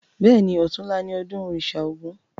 Bẹ́ẹ̀ni, ọ̀tunla ni ọdún òrìṣà ògún